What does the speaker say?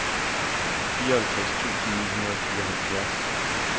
fireoghalvtreds tusind ni hundrede og fireoghalvfjerds